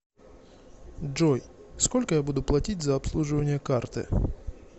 джой сколько я буду платить за обслуживание карты